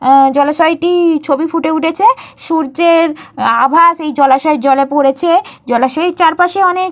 আ জলাশয়টির ছবি ফুটে উঠেছে। সূর্যের আভা সেই জলাশয়ের জলে পড়েছে। জলাশয়ের চারপাশে অনেক --